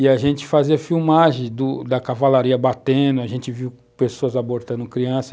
E a gente fazia filmagem do da cavalaria batendo, a gente viu pessoas abortando criança.